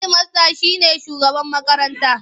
Hedimasta shi ne shugaban makaranta.